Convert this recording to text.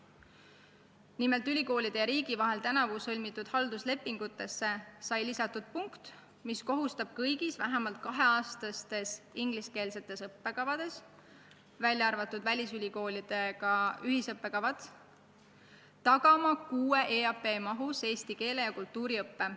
Nimelt, ülikoolide ja riigi vahel tänavu sõlmitud halduslepingutesse sai lisatud punkt, mis kohustab kõigi vähemalt kahe aasta pikkuste ingliskeelsete õppekavade puhul, välja arvatud välisülikoolidega ühised õppekavad, tagama kuue EAP mahus eesti keele ja kultuuri õppe.